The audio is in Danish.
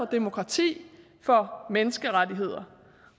demokrati for menneskerettigheder